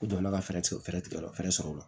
U donna ka fɛɛrɛ tigɛ ka fɛɛrɛ sɔrɔ o la